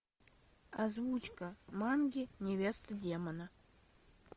озвучка манги невеста демона